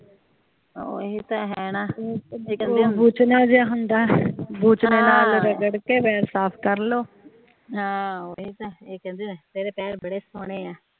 ਓਹੀ ਤਾ ਹੈ ਨਾ